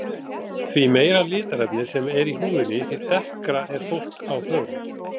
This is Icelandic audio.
Því meira litarefni sem er í húðinni því dekkra er fólk á hörund.